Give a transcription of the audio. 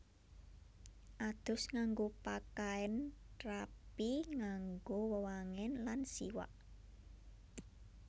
Adus ngganggo pakaén rapi nganggo wewangén lan siwak